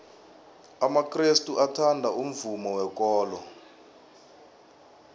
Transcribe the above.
amakrestu athanda umvumo wekolo